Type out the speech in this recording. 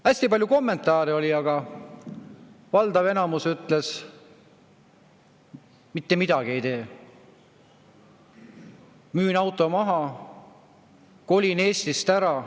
" Hästi palju kommentaare oli, aga valdav enamus ütles: mitte midagi ei tee, müün auto maha, kolin Eestist ära.